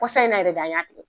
Kɔsa in na yɛrɛ de an y'a tigɛ